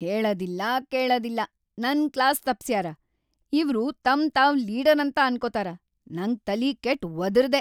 ಹೇಳದಿಲ್ಲಾ ಕೇಳದಿಲ್ಲಾ ನನ್‌ ಕ್ಲಾಸ್‌ ತಪ್ಸ್ಯಾರ ಇವ್ರು ತಮ್‌ ತಾವ್‌ ಲೀಡರ್‌ ಅಂತ ಅನ್ಕೊತಾರ, ನಂಗ ತಲಿ ಕೆಟ್‌ ವದರ್ದೆ.